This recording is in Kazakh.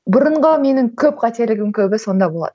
бұрынғы менің көп қателігім көбі сонда болатын